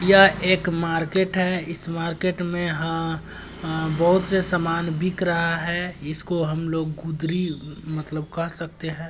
यह एक मार्केट है इस मार्केट मे हां-हां बहुत से सामान बिक रहा है इसको हम लोग गुदरी मतलब कह सकते है।